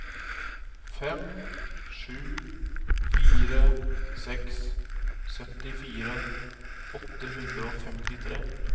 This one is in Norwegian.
fem sju fire seks syttifire åtte hundre og femtitre